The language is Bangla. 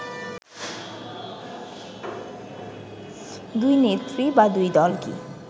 দুই নেত্রী বা দুই দল কি